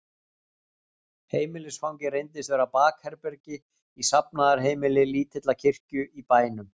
Heimilisfangið reyndist vera bakherbergi í safnaðarheimili lítillar kirkju í bænum.